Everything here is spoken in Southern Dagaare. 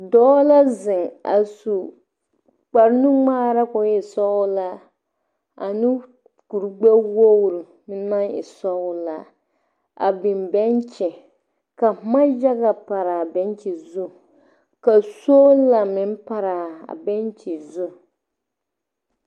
Doɔ la zeŋ a su kpar nu gmaara koo e sɔglaa ane kur gbɛwogre na e sɔglaa. A biŋ bentʃi ka boma yaga a pare a bentʃi zu. Ka soola meŋ paraa bentʃi zu